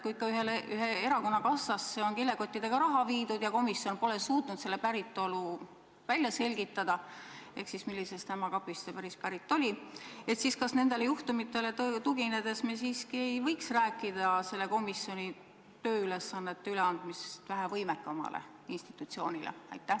Kui ikka ühe erakonna kassasse on kilekottidega raha viidud ja komisjon pole suutnud selle päritolu välja selgitada, pole suutnud välja selgitada, millisest ämma kapist see pärit oli, siis kas sellele juhtumile tuginedes me siiski ei võiks rääkida komisjoni tööülesannete üleandmisest vähe võimekamale institutsioonile?